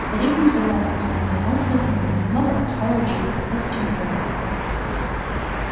старик не согласен со мной он вздохнул немного отстал от жизни вот в чем дело